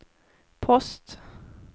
post